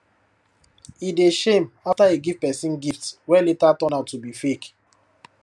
e dey shame after e give person gift wey later turn out to be fake